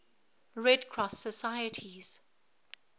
red cross societies